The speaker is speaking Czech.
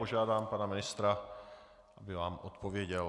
Požádám pana ministra, aby vám odpověděl.